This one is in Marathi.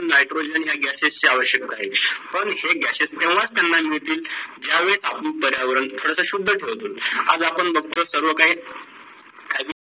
nitrogen हा gases ची अवयषकत आहे. पण हे gases तेव्हा त्यांना मिडतील जेव्हा आपण पर्यावरण थोडंसं शुद्ध ठेवील. आज आपण बगतो सर्व काही